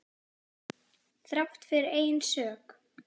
Þrátt fyrir eigin sök.